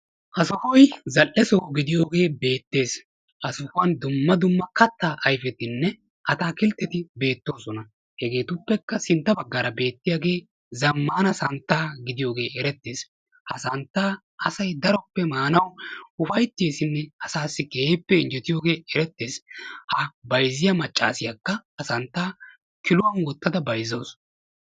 Ha sohoy zal''e soho gidiyooge beettees. Ha sohuwan dumma dumma kattaa ayfetinne atakiltteti beettoosona. Hegetuppekka sintta baggaara beettiyaage zammana santta gidiyooge erettees. Ha santta asay daroppe maanaw ufayttessine asassi keehippe injjettiyooge erettees. Ha bayzziya maccassiyakka ha santtaa kiluwan wottada bayzzawusu.